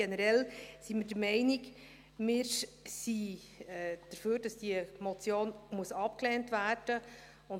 Generell sind wir der Meinung, dass diese Motion abgelehnt werden muss.